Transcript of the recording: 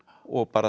og bara